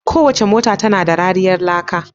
Kowace mota tana da kariyar laka.